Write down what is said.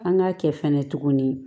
An k'a kɛ fɛnɛ tuguni